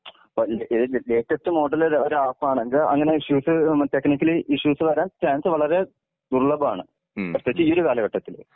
അപ്പോ uh latest model ഒരു app ആണെങ്കി അങ്ങെനെ ഇഷ്യൂസ് ടെക്നിക്കലി ഇഷ്യൂസ് വരാൻ ചാൻസ് വളരെ ദുര്‍ല്ലഭമാണ്. പ്രത്യേകിച്ച് ഈ ഒരു കാലഘട്ടത്തില്.